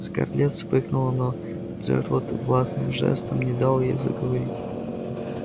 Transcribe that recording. скарлетт вспыхнула но джералд властным жестом не дал ей заговорить